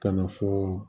Ka na fɔ